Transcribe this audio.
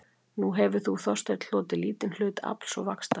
Nú hefir þú Þorsteinn hlotið lítinn hlut afls og vaxtar